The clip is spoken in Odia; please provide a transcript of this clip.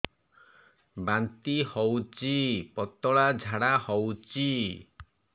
ବାନ୍ତି ହଉଚି ପତଳା ଝାଡା ହଉଚି